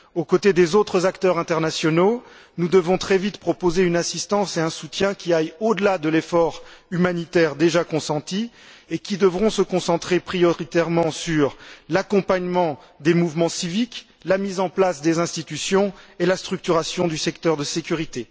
Aux côtés des autres acteurs internationaux, nous devons très vite proposer une assistance et un soutien qui aillent au delà de l'effort humanitaire déjà consenti et qui devront se concentrer prioritairement sur l'accompagnement des mouvements civiques, la mise en place des institutions et la structuration du secteur de la sécurité.